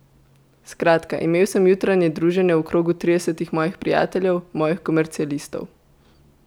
Skratka, imel sem jutranje druženje v krogu tridesetih mojih prijateljev, mojih komercialistov.